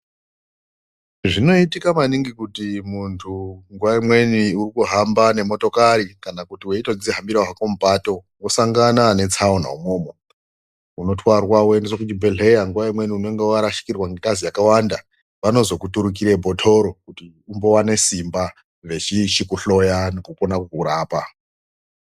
Zvinoitika maningi kuti muntu nguwa imweni urikuhamba nemotokari kana kuti weitodzihambira hako mupato wosangana netsaona umomo, unotwarwa woendeswa kuchibhedhlera, nguwa imweni unenge warashikirwa nengazi yakawanda vanozokuturukire bhotoro kuti umbowana simba veichikohloya nekukona kukurapa.